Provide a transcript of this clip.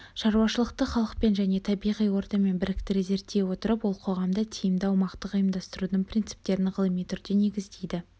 шаруашылықты халықпен және табиғи ортамен біріктіре зерттей отырып ол қоғамды тиімді аумақтық ұйымдастырудың принциптерін ғылыми түрде негіздейді